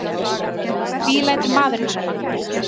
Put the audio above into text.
Því lætur maðurinn svona?